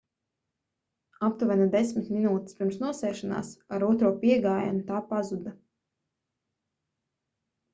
aptuveni desmit minūtes pirms nosēšanās ar otro piegājienu tā pazuda